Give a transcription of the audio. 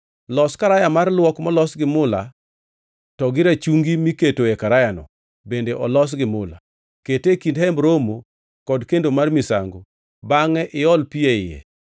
“Los karaya mar luok molos gi mula to gi rachungi miketoe karayano bende olos gi mula. Kete e kind Hemb Romo kod kendo mar misango bangʼe iol pi e iye.